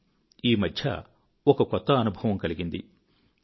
కానీ ఈ మధ్య ఒక కొత్త అనుభవం కలిగింది